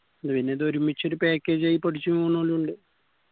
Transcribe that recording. അയിനിത് ഒരുമിച്ചൊരു package ആയി പഠിച്ചിറങ്ങുന്നോലു ഇണ്ട്